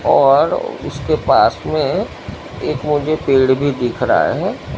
और उसके पास में एक मुझे पेड़ भीं दिख रहा हैं।